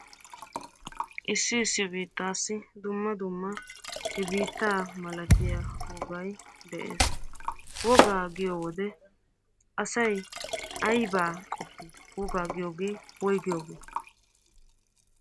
Issi issi biittaassi dumma dumma he biittaa malatiya wogay de'ees. Wogaa giyo wode asay aybaa qoppi? Wogaa giyoogee woyigiyoogee?